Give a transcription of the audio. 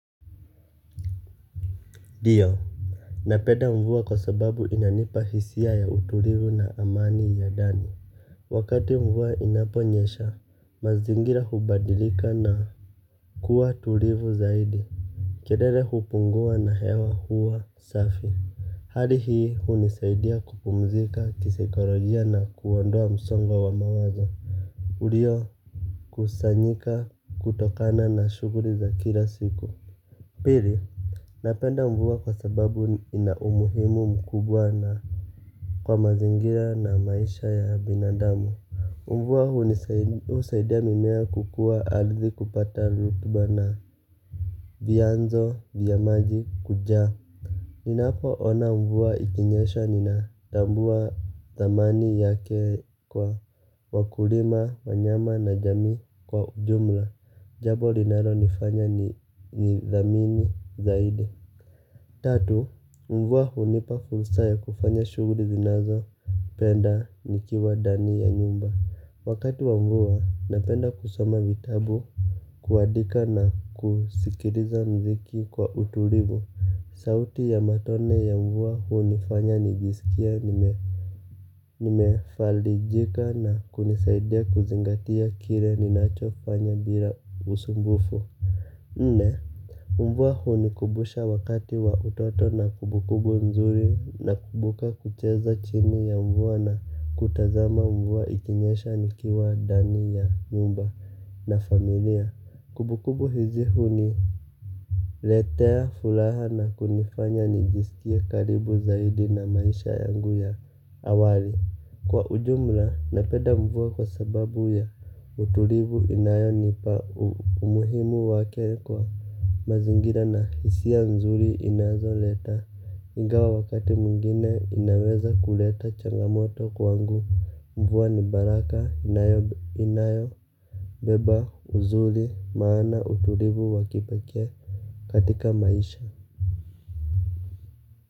Ndio napenda mvua kwa sababu inanipa hisia ya utulivu na amani ya ndani. Wakati mvua inaponyesha mazingira hubadilika na kuwa tulivu zaidi. Kelele hupungua na hewa huwa safi. Hali hii hunisaidia kupumzika kisaikolojia na kuondoa msongo wa mawazo uliokusanyika kutokana na shughuli za kila siku. Pili napenda mvua kwa sababu ina umuhimu mkubwa na kwa mazingira na maisha ya binadamu. Mvua husaidia mimea kukua ardhi kupata rutuba na vyanzo vya maji kujaa. Ninapo ona mvua ikinyesha ninatambua thamani yake kwa wakulima wanyama na jamii kwa ujumla. Jambo linalonifanya nidhamini zaidi tatu, mvua hunipa fursa ya kufanya shughuli zinazo penda nikiwa ndani ya nyumba, wakati wa mvua napenda kusoma vitabu, kuandika na kusikiliza mziki kwa utulivu, sauti ya matone ya mvua hunifanya nijisikie nime nimefarijika na kunisaidia kuzingatia kile ninacho fanya bila usumbufu nne. Mvua huni kumbusha wakati wa utoto na kumbukumbu nzuri nakumbuka kucheza chini ya mvua na kutazama mvua ikinyesha nikiwa ndani ya nyumba na familia. Kumbukumbu hizi huni letea furaha na kunifanya nijisikie karibu zaidi na maisha yangu ya awali. Kwa ujumla napenda mvua kwa sababu ya utulivu inayo nipa umuhimu wake kwa mazingira na hisia nzuri inazoleta. Ingawa wakati mwingine inaweza kuleta changamoto kwangu. Mvua ni baraka inayobeba uzuri maana utulivu wa kipekee katika maisha.